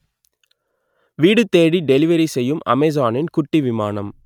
வீடு தேடி டெலிவரி செய்யும் அமேசானின் குட்டி விமானம்